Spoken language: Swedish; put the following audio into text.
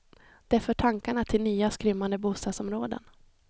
Det för tankarna till nya, skrymmande bostadsområden.